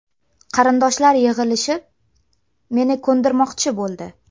Qarindoshlar yig‘ilishib, meni ko‘ndirmoqchi bo‘ldi.